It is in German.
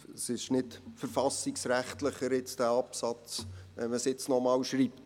Dieser Absatz wird nicht verfassungsrechtlicher, wenn man es noch einmal hinschreibt.